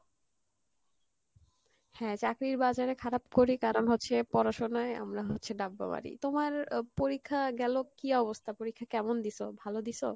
হ্যাঁ চাকরীর বাজারে খারাপ করি কারন হচ্ছে, পড়াশোনায় আমরা হচ্ছে ডাব্বা মারি তোমার আহ পরীক্ষা গেলো কী অবস্থা? পরীক্ষা কেমন দিসো? ভালো দিসো?